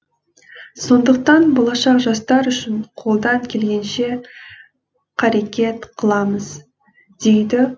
сондықтан болашақ жастар үшін қолдан келгенше қарекет қыламыз дейді